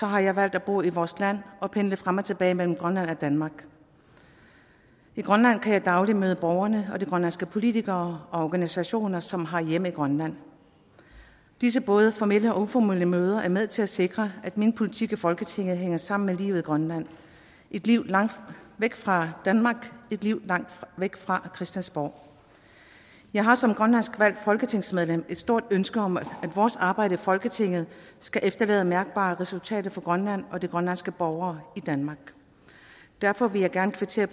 har jeg valgt at bo i vores land og pendle frem og tilbage mellem grønland og danmark i grønland kan jeg dagligt møde borgere og de grønlandske politikere og organisationer som har hjemme i grønland disse både formelle og uformelle møder er med til at sikre at min politik i folketinget hænger sammen med livet i grønland et liv langt væk fra danmark et liv langt væk fra christiansborg jeg har som grønlandsk valgt folketingsmedlem et stort ønske om at vores arbejde i folketinget skal efterlade mærkbare resultater for grønland og de grønlandske borgere i danmark derfor vil jeg gerne kvittere